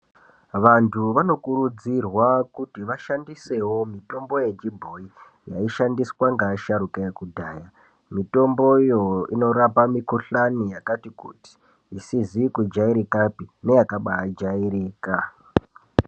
Vantu vanokurudzirwa kuti vashandisewo mitombo yechibhoyi yaishandiswa ngeasharuka ekudhaya. Mitomboyo inorapa mikhuhlani yakati kuti, isizi kujairikapi neyakabaa jairika.